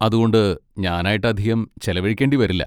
അതുകൊണ്ട്, ഞാനായിട്ട് അധികം ചെലവഴിക്കേണ്ടി വരില്ല.